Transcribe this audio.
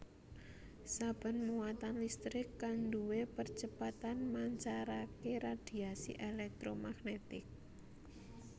Saben muatan listrik kang duwé percepatan mancarake radhiasi èlèktromagnetik